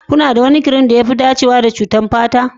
Kuna da wani kirim da ya fi dacewa da cututtukan fata?